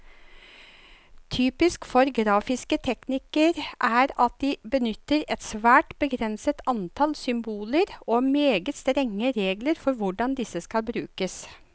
Typisk for grafiske teknikker er at de benytter et svært begrenset antall symboler, og meget strenge regler for hvordan disse skal brukes.